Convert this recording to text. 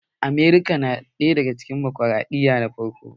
Amurka na daga cikin demokraɗiyya na farko